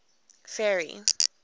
ferry